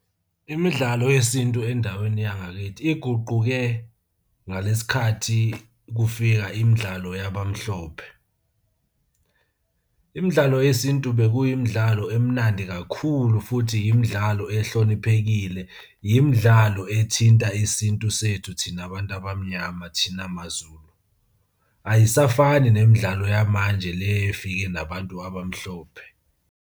Imidlalo yesintu endaweni yangakithi iguquke ngalesi khathi kufika imidlalo yabamhlophe. Imidlalo yesintu bekuyimidlalo emnandi kakhulu futhi yimidlalo ehloniphekile, yimidlalo ethinta isintu sethu thina bantu abamnyama, thina maZulu. Ayisafani nemidlalo yamanje le efike nabantu abamhlophe.